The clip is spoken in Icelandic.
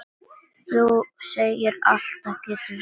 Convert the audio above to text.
Þú segir alltaf getur verið!